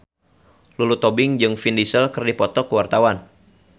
Lulu Tobing jeung Vin Diesel keur dipoto ku wartawan